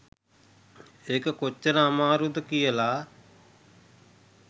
ඒක කොච්චර අමාරුද කියලා